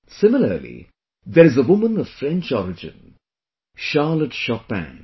Similarly there is a woman of French origin Charlotte Chopin